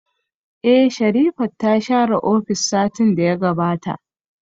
Eh, Sherifat ta share ofis a satin da ya gabata